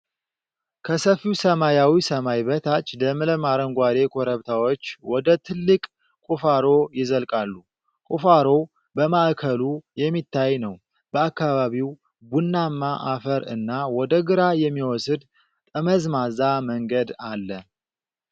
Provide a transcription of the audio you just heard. ከሰፊው ሰማያዊ ሰማይ በታች፣ ለምለም አረንጓዴ ኮረብታዎች ወደ ጥልቅ ቁፋሮ ይዘልቃሉ። ቁፋሮው በማዕከሉ የሚታይ ነው፣ በአካባቢው ቡናማ አፈር እና ወደ ግራ የሚወስድ ጠመዝማዛ መንገድ አለ።